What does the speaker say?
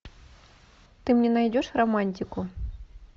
ты мне найдешь романтику